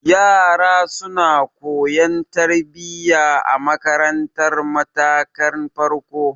Yara suna koyan tarbiya a marantar matakin farko.